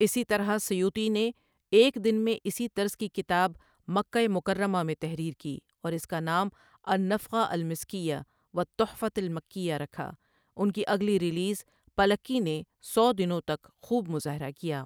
اسی طرح سیوطی نے ایک دن میں اسی طرز کی کتاب مکہ مکرمہ میں تحریر کی اور اس کا نام النفخۃ المسکیۃ والتحفۃ المکیۃ رکھا، ان کی اگلی ریلیز پلّککی نے سو دنوں تک خوب مظاہرہ کیا۔